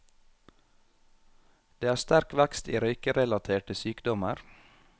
Det er sterk vekst i røykerelaterte sykdommer.